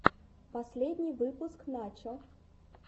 последний выпуск начо